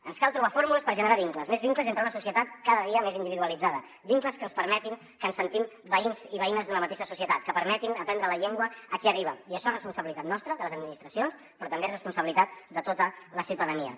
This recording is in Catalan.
ens cal trobar fórmules per generar vincles més vincles entre una societat cada dia més individualitzada vincles que ens permetin que ens sentim veïns i veïnes d’una mateixa societat que permetin aprendre la llengua a qui arriba i això és responsabilitat nostra de les administracions però també és responsabilitat de tota la ciutadania